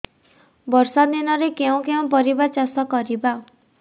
ବର୍ଷା ଦିନରେ କେଉଁ କେଉଁ ପରିବା ଚାଷ କରିବା